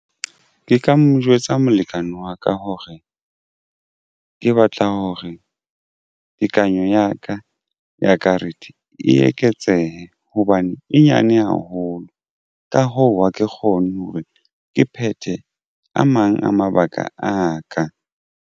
Ke ka mo jwetsa molekane wa ka hore ke batla hore tekanyo ya ka ya karete e eketsehe hobane e nyane haholo. Ka hoo, ha ke kgone hore ke phethe a mang a mabaka a ka.